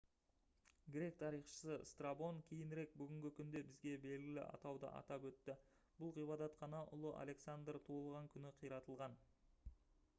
грек тарихшысы страбон кейінірек бүгінгі күнде бізге белгілі атауды атап өтті бұл ғибадатхана ұлы александр туылған түні қиратылған